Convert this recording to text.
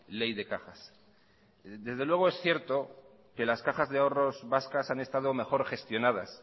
ley de cajas desde luego es cierto que las cajas de ahorros vascas han estado mejor gestionadas